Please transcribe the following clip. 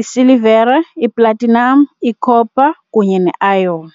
isilivere, iplatinum, icopper, kunye neiron.